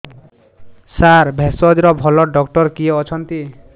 ସାର ଭେଷଜର ଭଲ ଡକ୍ଟର କିଏ ଅଛନ୍ତି